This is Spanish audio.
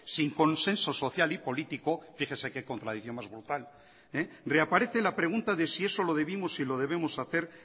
sin consenso social y político fíjese que contradicción más brutal reaparece la pregunta de si eso lo debimos y lo debemos hacer